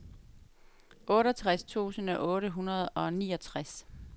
otteogtres tusind otte hundrede og niogtres